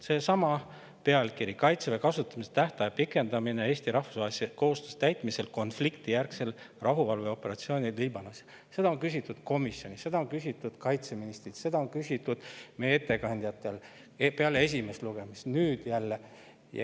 Seesama pealkiri "Kaitseväe kasutamise tähtaja pikendamine Eesti rahvusvaheliste kohustuste täitmisel konfliktijärgsel rahuvalveoperatsioonil Liibanonis" – selle kohta on küsitud komisjonis, seda on küsitud kaitseministrilt, seda on küsitud meie ettekandjatelt peale esimest lugemist ja nüüd küsiti jälle.